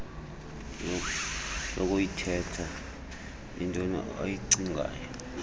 lokuyithetha intoi abayicingayo